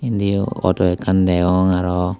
indiyo auto ekkan degong arow.